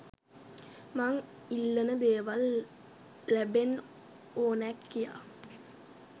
මං ඉල්ලන දේවල් ලබෙන්න ඕනෑ කියා.